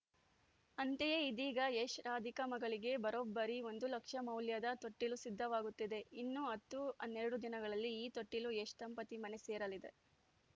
ಅಂತೆಯೇ ಇದೀಗ ಯಶ್‌ರಾಧಿಕಾ ಮಗಳಿಗೆ ಬರೋಬ್ಬರಿ ಒಂದು ಲಕ್ಷ ಮೌಲ್ಯದ ತೊಟ್ಟಿಲು ಸಿದ್ಧವಾಗುತ್ತಿದೆ ಇನ್ನು ಹತ್ತು ಹನ್ನೆರಡು ದಿನಗಳಲ್ಲಿ ಈ ತೊಟ್ಟಿಲು ಯಶ್‌ ದಂಪತಿ ಮನೆ ಸೇರಲಿದೆ